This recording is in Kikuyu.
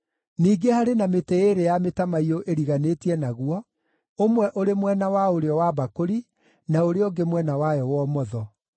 Ningĩ harĩ na mĩtĩ ĩĩrĩ ya mĩtamaiyũ ĩriganĩtie naguo, ũmwe ũrĩ mwena wa ũrĩo wa mbakũri, na ũrĩa ũngĩ mwena wayo wa ũmotho.”